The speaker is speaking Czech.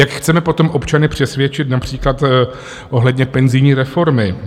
Jak chceme potom občany přesvědčit například ohledně penzijní reformy?